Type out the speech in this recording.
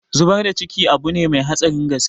Zubar da ciki abune mai hatsarin gaske